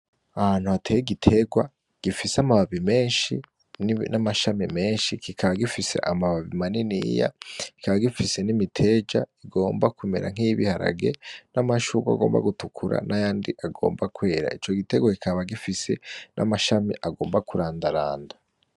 Ahantu hateye igiterwa gifise amababi menshi n'amashami menshi kikaba gifise amababi maniniya , kikaba gifise n'imiteja igimba kumera nkiy'ibiharage, n'amashurwe agomba gutukura n'ayandi agomba kwera, ico gitegwa kikaba gifise n'amashami agomba kurandaranda.